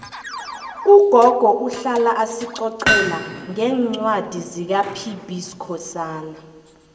ugogo uhlala asicocela ngencwadi zikapb skhosana